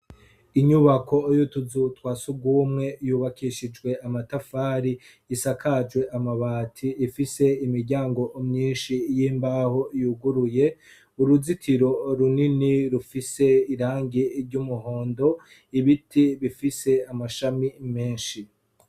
Inyubako yutuzu twa sugumwe yubakishijwe amatafari, isakajwe amabati ifise imiryango myinshi y'imbaho yuguruye. Uruzitiro runini rufise irangi ry'umuhondo ibiti bifise amashami menshi.